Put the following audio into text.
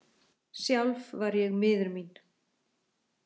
Sjálf var ég miður mín.